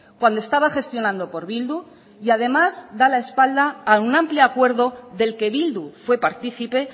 cuando estaba gestionando por bildu y además da la espalda a un amplio acuerdo del que bildu fue partícipe